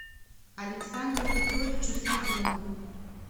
александру петровичу сазонову